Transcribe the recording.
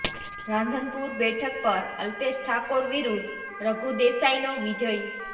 રાધનપુર બેઠક પર અલ્પેશ ઠાકોર વિરૂદ્ધ રઘુ દેસાઈનો વિજય